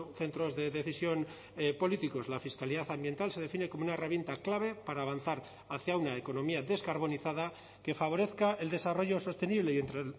centros de decisión políticos la fiscalidad ambiental se define como una herramienta clave para avanzar hacia una economía descarbonizada que favorezca el desarrollo sostenible y entre